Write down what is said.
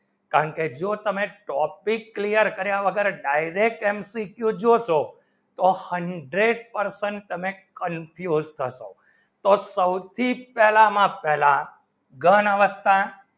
કારણ કે જો તમે topic clear કર્યા વગર Direct MCQ જોશો તો hundred percent તમારે confuse થશો તો સૌથી પેહલા માં પેહલા ઘન અવસ્થા